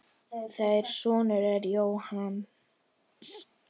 Þeirra sonur er Jónas.